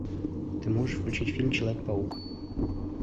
ты можешь включить фильм человек паук